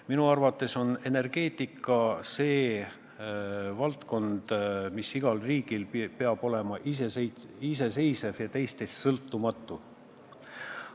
Minu arvates on energeetika see valdkond, mis igal riigil peab olema iseseisev ja sõltumatu.